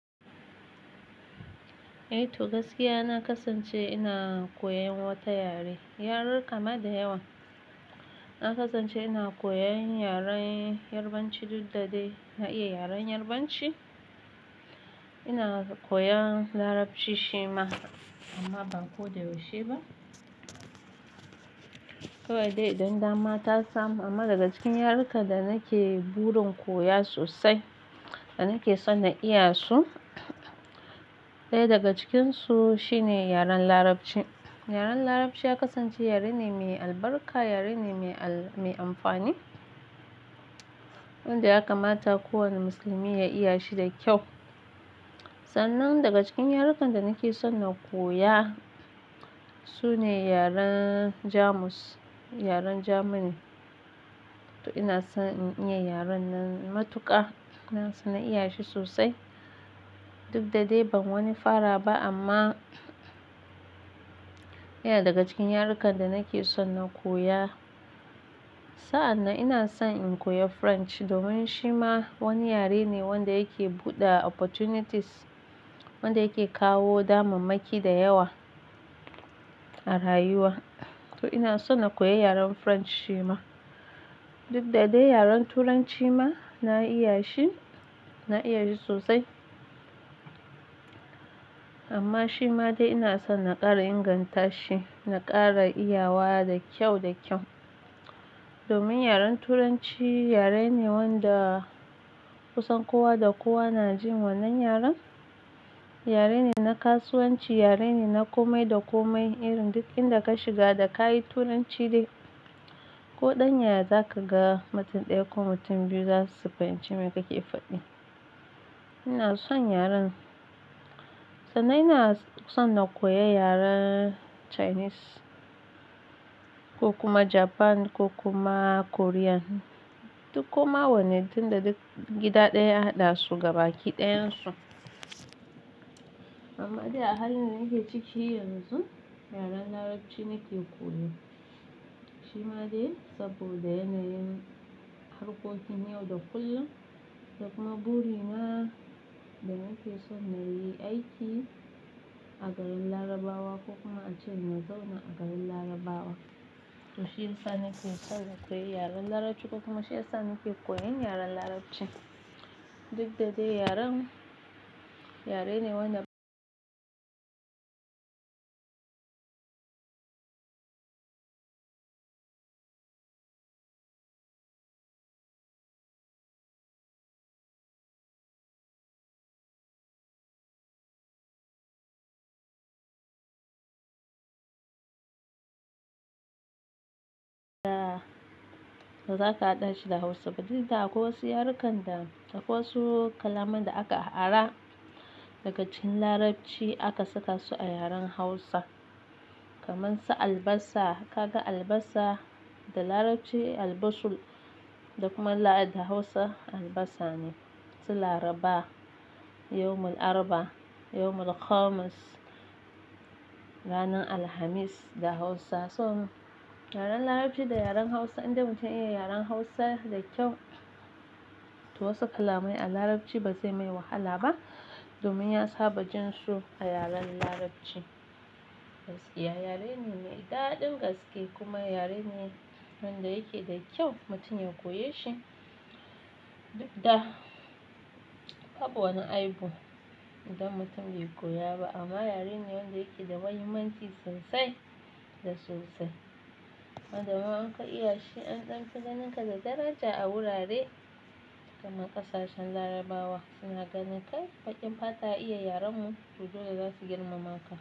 Eh to gaskiya na kasance ina koyan wata yare, yarurka ma da yawa. Na kasance ina koyan yaren Yarbanci duk da dai na iya yaren Yarbanci. Ina koyan Larabci shi ma amma ba ko da yaushe ba. Ko dai idan dama ta samu amma daga cikin yarukan da nake burin koya sosai da nake son na iya su, ɗaya daga cikinsu shine yaren Larabci. Yaren Larabci ya kasance yare ne mai albarka, yare ne mai al-- mai amfani wanda ya kamata kowane musulmi ya iya shi da kyau. Sanan daga cikin yarukan da nake son na koya su ne yaren Jamus, yaren Jamani. To ina son in iya yaren nan matuƙa, ina son na iya shi sosai duk da dai ban wani fara ba amma yana daga cikin yarukan da nake son na koya. Sa'an nan ina son in koya French domin shi ma wani yare ne wanda yake buɗe opportunities, wanda yake kawo damammaki da yawa a rayuwa. To ina son na koyi yaren French shi ma. Duk da dai yaren Turanci ma na iya shi, na iya shi sosai amma shi ma dai ina son na ƙara inganta shi, na ƙara iyawa da kyau da kyau. Domin yaren Turanci yare ne wanda kusan kowa da kowa na jin wannan yaren. Yare ne na kasuwanci, yare ne na komai da komai. Irin duk inda ka shiga da ka yi Turanci dai ko ɗan ya za ka ga mutum ɗaya ko mutum biyu za su fahimci me kake faɗi. Ina son yaren. Sannan ina son na koyi yaren Chinese ko kuma Japan ko kuma Korean. Duk kuma wannan tunda duk gida ɗaya haɗa su gaba kiɗayen su. Amma dai a halin da nake ciki yanzu, yaren Larabci nake koyo. Shi ma dai saboda yana yin harkokin yau da kullum da kuma burina da nake son na yi aiki a garin Larabawa ko kuma a ji na zauna a garin Larabawa. To shiyasa nake son na koyi yaren Larabci ko kuma shi ya sa nake koyan yaren Larabci. Duk da dai yaren, yare ne wanda to za ka haɗa shi da Hausa. Dukda akwai wasu yarukan da a wasu kalaman da aka ara daga cikin Larabci aka saka su a yaren Hausa. Kamar su albasa, ka ga albasa, da Larabci "al-basul" dakuma la'i da Hausa albasa ne. Su Laraba, "yawmul Arba", "yawmul Khamis", ranar Alhamis da Hausa. So yaren Larabci da yaren Hausa inda mutum ya iya yaren Hausa da kyau, to wasu kalamai a Larabci ba zai mai wahala ba domin ya saba jin su a yaren Larabci. Gaskiya yare ne mai daɗin gaske kuma yare ne wanda yake da kyau mutum ya koyi shi. Duk da babu wani aibu idan mutum bai koya ba amma yare ne wanda yake da mahimmanci sosai da sosai. Wandama in ka iya shi an ɗan fa ganinka da daraja a wurare kamar ƙasashen Larabawa suna ganinkai baƙin fata ya iya yarenmu to dole za su girmama ka.